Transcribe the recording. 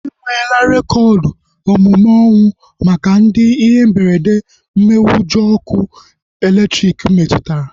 Enwela rekoodu omume ọnwụ maka ndị ihe mberede mmenyeujọ ọkụ elektriki metụtara